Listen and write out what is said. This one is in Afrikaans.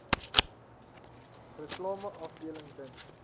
reklame afdeling dink